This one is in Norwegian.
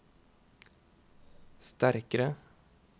sterkare